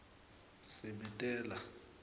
sibitelo